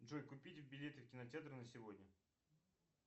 джой купить билеты в кинотеатр на сегодня